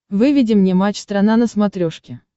выведи мне матч страна на смотрешке